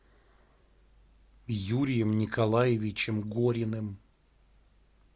юрием николаевичем гориным